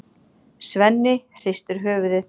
Svenni hristir höfuðið.